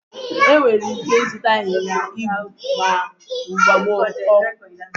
Enwere ike ịzụta ịnyịnya ibu na mgbago ukwu.